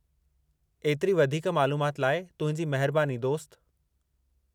एतिरी वधीकु मालूमाति लाइ तुंहिंजी महिरबानी, दोस्त।